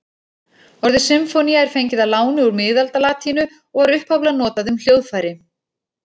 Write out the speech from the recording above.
Orðið sinfónía er fengið að láni úr miðaldalatínu og var upphaflega notað um hljóðfæri.